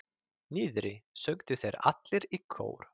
Niðri, sögðu þeir allir í kór.